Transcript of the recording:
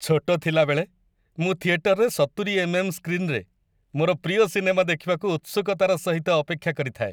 ଛୋଟ ଥିଲା ବେଳେ, ମୁଁ ଥିଏଟରରେ ୭୦ ଏମ୍‌.ଏମ୍‌. ସ୍କ୍ରିନରେ ମୋର ପ୍ରିୟ ସିନେମା ଦେଖିବାକୁ ଉତ୍ସୁକତାର ସହିତ ଅପେକ୍ଷା କରିଥାଏ।